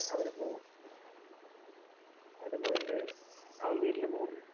നേരെ അവര് പോവും. അവര് പോയിട്ട് അവന്‍ വീട്ടിലും പോവും.